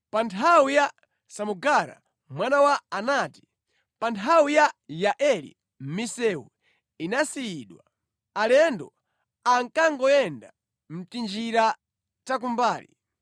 “Pa nthawi ya Samugara mwana wa Anati, pa nthawi ya Yaeli, misewu inasiyidwa; alendo ankangoyenda mʼtinjira takumbali.